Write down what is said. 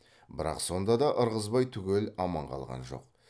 бірақ сонда да ырғызбай түгел аман қалған жоқ